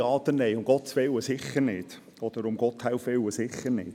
Ja oder Nein – um Gottes Willen, sicher nicht, oder: um Gotthelfs Willen, sicher nicht.